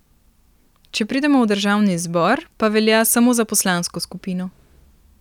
Če pridemo v državni zbor, pa velja samo za poslansko skupino.